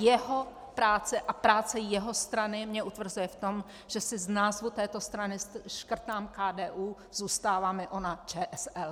Jeho práce a práce jeho strany, mě utvrzuje v tom, že si z názvu této strany škrtám KDU, zůstává mi ona ČSL.